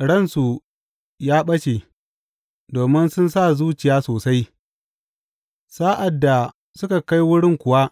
Ransu ya ɓace, domin sun sa zuciya sosai; sa’ad da suka kai wurin kuwa